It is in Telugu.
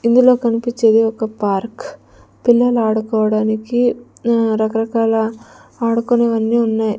ఇందులో కనిపించేది ఒక పార్క్ పిల్లలు ఆడుకోవడానికి ఆ రకరకాల ఆడుకునేవన్నీ ఉన్నాయి.